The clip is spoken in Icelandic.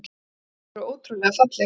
Þær voru ótrúlega fallegar.